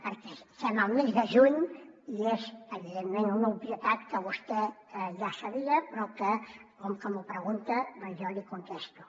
perquè som al mes de juny i és evidentment una obvietat que vostè ja sabia però que com que m’ho pregunta doncs jo l’hi contesto